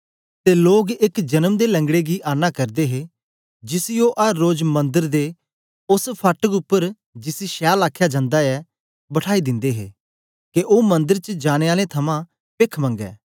ते लोग एक जन्म दे लंगड़े गी आना करदे हे जिसी ओ अर रोज मंदर दे ओस फाड़क उपर जिसी छैल आखया जंदा ऐ बठाई दिंदे हे के ओ मन्दर च जाने आलें थमां पेख मंगैं